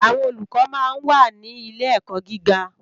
Àwòn ólúkò má n wá ni ilé èkò gigá